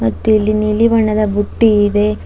ಮತ್ತು ಇಲ್ಲಿ ನೀಲಿ ಬಣ್ಣದ ಬುಟ್ಟಿ ಇದೆ.